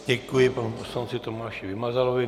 Děkuji panu poslanci Tomáši Vymazalovi.